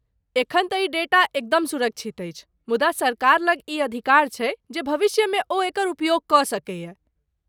एखन तँ ई डेटा एकदम सुरक्षित अछि, मुदा सरकार लग ई अधिकार छैक जे भविष्यमे ओ एकर उपयोग कऽ सकैए।